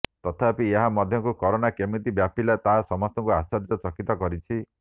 ତଥାପି ଏହା ମଧ୍ୟକୁ କରୋନା କେମିତି ବ୍ୟାପିଲା ତାହା ସମସ୍ତଙ୍କୁ ଆଶ୍ଚର୍ଯ୍ୟ ଚକିତ କରିଛି